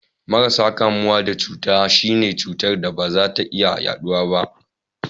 Marasa kamuwa da cuta, shi ne cutar da ba za ta iya yaduwa ba.